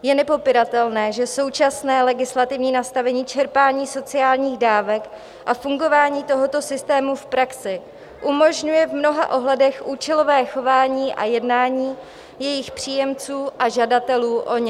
Je nepopiratelné, že současné legislativní nastavení čerpání sociálních dávek a fungování tohoto systému v praxi umožňuje v mnoha ohledech účelové chování a jednání jejich příjemců a žadatelů o ně.